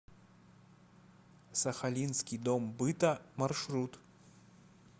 сахалинский дом быта маршрут